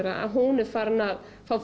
að hún er farin að fá